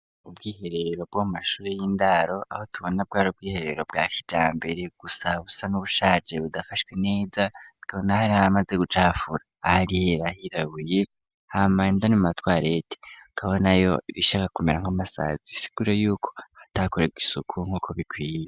uUbwiherero bwo mashure y'indaro aho tubona bwaro bwiherero bwa kija mbere gusa busa n'ubushaje budafashwe neza tukabona hari ari maze gucafura hariyo ahirabuye hamainda ne mu matwar ete kabona yo bishaka kumera nk'amasazi bisigure yuko atakorega isuku nk'uko bikwiye.